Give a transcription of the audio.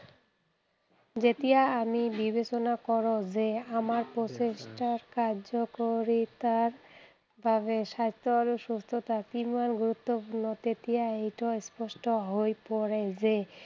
যেতিয়া আমি বিবেচনা কৰোঁ যে, আমাৰ প্ৰকৃত কাৰ্যকাৰিতাৰ বাবে স্বাস্থ্য আৰু সুস্থতা কিমান গুৰুত্বপূৰ্ণ, তেতিয়া এইটো স্পষ্ট হৈ পৰে যে